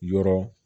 Yɔrɔ